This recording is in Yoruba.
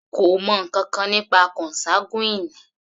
Kò mọ ǹkankan nípa consanguine.